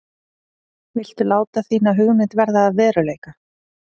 Viltu láta þína hugmynd verða að veruleika?